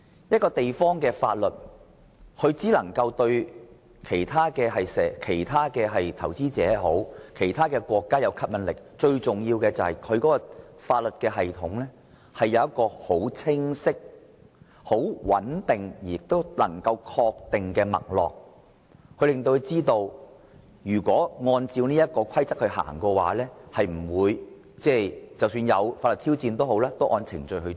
一個地方的法律系統對其他投資者或國家具吸引力，最重要的原因是其法律系統有清晰、穩定及確定的脈絡，讓他們知道只要按照規則辦事，即使面對法律挑戰亦會按程序處理。